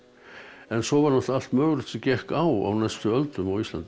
en svo var allt mögulegt sem gekk á á næstu öldum á Íslandi